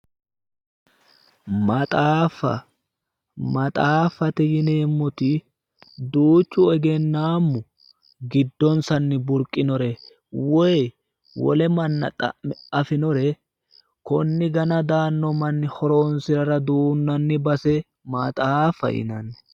Maxaafa maffate yineemmoti duuchu egennaammu giddonsanni burqinore wiyi wole manna xa'me afinore konni gana daanno manni horonsirara duunnanni base maxaafa yinanni.